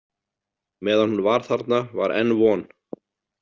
Meðan hún var þarna var enn von.